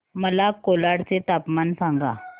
मला कोलाड चे तापमान सांगा